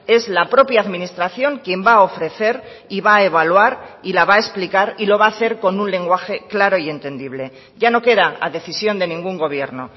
es la propia administración quien va a ofrecer y va a evaluar y la va a explicar y lo va a hacer con un lenguaje claro y entendible ya no queda a decisión de ningún gobierno